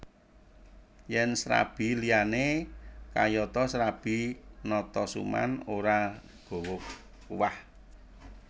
Yen srabi liyane kayata srabi Natasuman ora gawa kuah